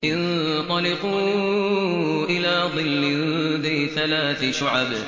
انطَلِقُوا إِلَىٰ ظِلٍّ ذِي ثَلَاثِ شُعَبٍ